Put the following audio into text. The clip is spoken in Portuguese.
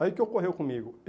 Aí o que que ocorreu comigo?